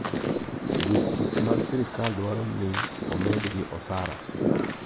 Jotich mag sirkal dwaro ni omedgi osara.